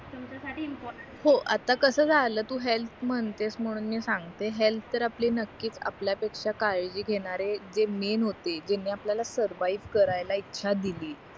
तुमच्यासाठी हो आता कसं झालं तू हेल्थ म्हणतेस म्हणून मी सांगते हेल्थ तर आपली नक्कीच आपल्या पेक्षा काळजी घेणारे जे मेन होते ज्यांनी आपल्याला सुरवाईव्ह करायला इच्छा दिली